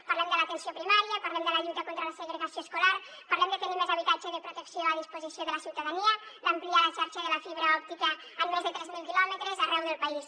parlem de l’atenció primària parlem de la lluita contra la segregació escolar parlem de tenir més habitatge de protecció a disposició de la ciutadania d’ampliar la xarxa de la fibra òptica en més de tres mil quilòmetres arreu del país